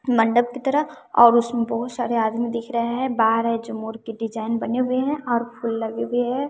मंडप की तरह और उसमें बहुत सारे आदमी दिख रहे हैं बाहर हैं जो मोर के डिजाइन बने हुए हैं और फूल लगे हुए हैं।